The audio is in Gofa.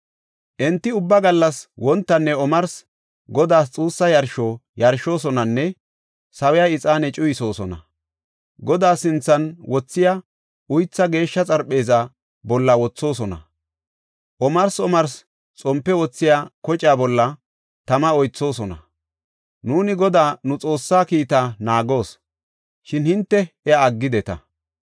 Enti ubba gallas wontanne omarsi Godaas xuussa yarsho yarshoosonanne sawiya ixaane cuyisoosona. Godaa sinthan wothiya uythaa geeshsha xarpheeza bolla wothoosona. Omarsi omarsi xompe wothiya kocaa bolla tama oythoosona. Nuuni Godaa nu Xoossaa kiita naagoos; shin hinte iya aggideta.